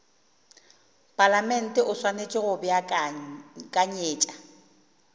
palamente o swanetše go beakanyetša